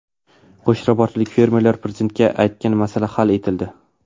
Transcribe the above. Qo‘shrabotlik fermerlar Prezidentga aytgan masala hal etildi.